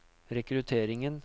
rekrutteringen